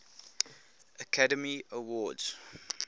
academy awards